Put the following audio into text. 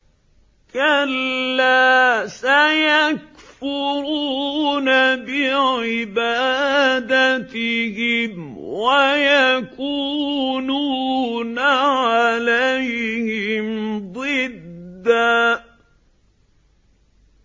كَلَّا ۚ سَيَكْفُرُونَ بِعِبَادَتِهِمْ وَيَكُونُونَ عَلَيْهِمْ ضِدًّا